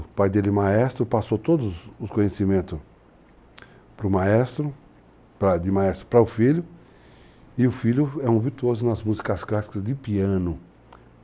O pai dele é maestro, passou todos os conhecimentos para o maestro, de maestro para o filho, e o filho é um virtuoso nas músicas clássicas de piano.